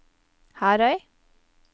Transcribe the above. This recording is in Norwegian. Herøy